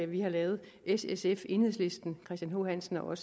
vi har lavet s sf enhedslisten christian h hansen og